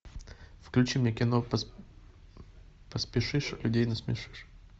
включи мне кино поспешишь людей насмешишь